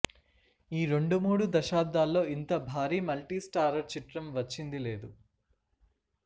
ఈ రెండు మూడు దశాబ్దాల్లో ఇంత భారీ మల్టీస్టారర్ చిత్రం వచ్చింది లేదు